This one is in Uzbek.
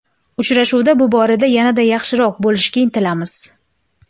Uchrashuvda bu borada yanada yaxshiroq bo‘lishga intilamiz.